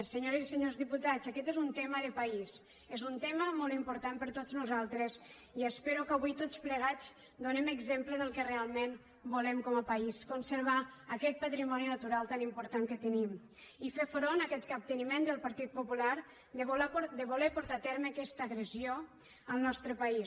senyores i senyors diputats aquest és un tema de país és un tema molt important per a tots nosaltres i espero que avui tots plegats donem exemple del que realment volem com a país conservar aquest patrimoni natural tan important que tenim i fer front a aquest capteniment del partit popular de voler portar a terme aquesta agressió al nostre país